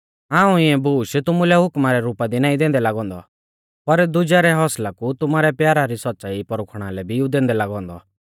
हाऊं इऐं बूश तुमुलै हुकमा रै रुपा दी नाईं दैंदै लागौ औन्दौ पर दुजै रै हौसला कु तुमारै प्यारा री सौच़्च़ाई परखुणा लै भी ऊ बोलदै लागौ औन्दौ